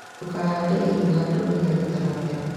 Ndũkahande irio handũ ria rĩtaramera